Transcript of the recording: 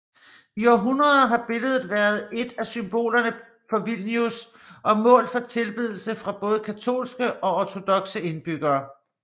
I århundreder har billedet været et af symbolerne for Vilnius og mål for tilbedelse fra både katolske og ortodokse indbyggere